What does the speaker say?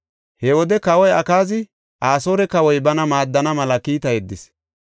He wode kawoy Akaazi Asoore kawoy bana maaddana mela kiita yeddis.